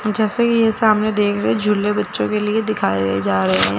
जैसा कि ये सामने देख रहे झूले बच्चों के लिए दिखाए जा रहे है।